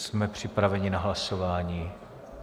Jsme připraveni na hlasování.